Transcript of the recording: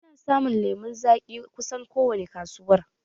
Ana samun lemun zaƙi kusan ko wani kakar